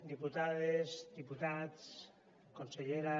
diputades diputats consellera